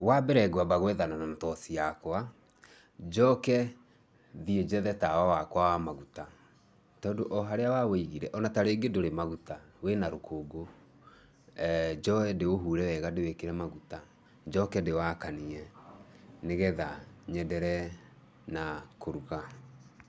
Wambere ngwamba gwethana na toci yakwa, njoke thiĩ njethe tawa wakwa wa maguta. Tondũ o harĩa wa wũigire o na ta rĩngĩ ndũrĩ na maguta wĩna rũkũngũ. Njoe ndĩũhure wega ndĩwĩkĩre maguta, njoke ndĩwakanie nĩgetha nyenderee na kũruga.